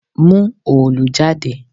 Mú òòlù jáde!